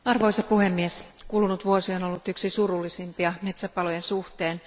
Arvoisa puhemies, kulunut vuosi on ollut yksi surullisimpia metsäpalojen suhteen.